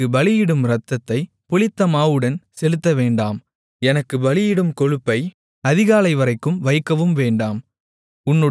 எனக்கு பலியிடும் இரத்தத்தைப் புளித்தமாவுடன் செலுத்தவேண்டாம் எனக்கு பலியிடும் கொழுப்பை அதிகாலைவரைக்கும் வைக்கவும் வேண்டாம்